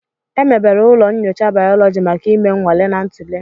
Emebere ụlọ nyocha bayólóji maka ime nnwale na ntule